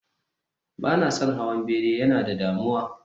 Ba na son hawan bene, yana da damuwa